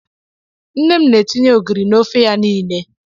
Nne m na-etinye ogiri n'ofe ya niile.